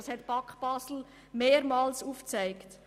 Das hat die BAK Basel mehrmals aufgezeigt.